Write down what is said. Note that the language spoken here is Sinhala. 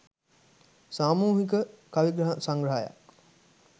සාමූහික කවි සංග්‍රහයක්